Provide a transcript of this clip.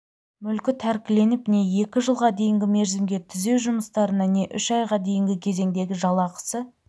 мүлкі тәркіленіп не екі жылға дейінгі мерзімге түзеу жұмыстарына не үш айға дейінгі кезеңдегі жалақысы